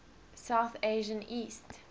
south asian east